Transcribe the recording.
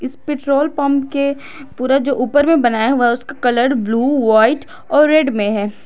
इस petrol pump के पूरा जो ऊपर में बनाया हुआ है उसका कलर ब्ल्यू व्हाइट और रेड में है।